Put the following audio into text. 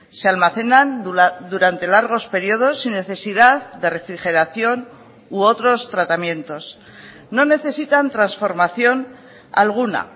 se almacenan durante largos periodos sin necesidad de refrigeración u otros tratamientos no necesitan transformación alguna